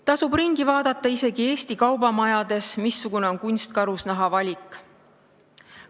Tasub ringi vaadata isegi Eesti kaubamajades, et näha, missugune on kunstkarusnaha valik.